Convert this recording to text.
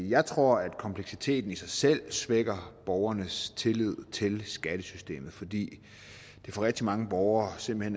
jeg tror at kompleksiteten i sig selv svækker borgernes tillid til skattesystemet fordi det for rigtig mange borgere simpelt